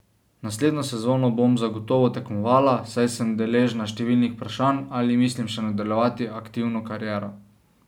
Naslednjo sezono bom zagotovo tekmovala, saj sem deležna številnih vprašanj, ali mislim še nadaljevati aktivno kariero.